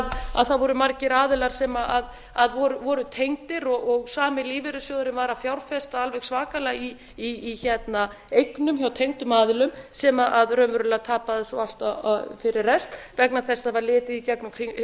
að það voru margir aðilar sem voru tengdir og sami lífeyrissjóðurinn var að fjárfesta alveg svakalega í eignum hjá tengdum aðilum sem raunverulega tapa þessu fyrir rest vegna þess að það var litið í gegnum